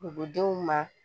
Dugudenw ma